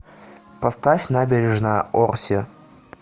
поставь набережная орси